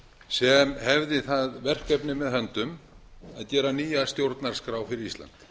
sem hefði það verkefni með höndum að gera nýja stjórnarskrá fyrir ísland